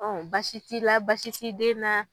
baasi t'i la baasi t'i den na